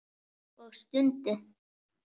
Og stundi.